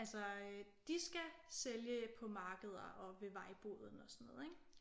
Altså øh de skal sælge på markeder og ved vejboden og sådan noget ik?